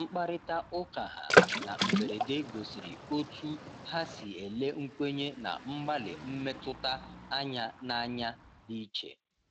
Mkparịta ụkaha na mberede gosiri otú ha si ele nkwenye na mgbalị mmetụta anya n’anya dị iche.